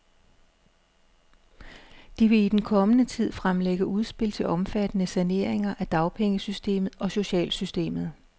De vil i den kommende tid fremlægge udspil til omfattende saneringer af dagpengesystemet og socialsystemet.